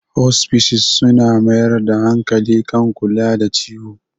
Hospices suna mayar da hankali kan kula da ciwo.